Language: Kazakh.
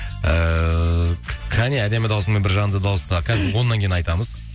ііі қане әдемі дауысыңмен бір жанды дауыста қазір оннан кейін айтамыз